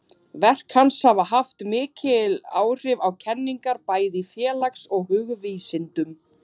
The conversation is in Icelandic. Verk hans hafa haft mikil áhrif á kenningar bæði í félags- og hugvísindum.